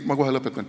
Ei, ma kohe lõpetan.